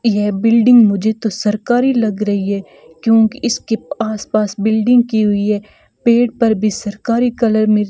यह बिल्डिंग मुझे तो सरकारी लग रही है क्योंकि इसके आसपास बिल्डिंग की हुई है पेड़ पर भी सरकारी कलर में --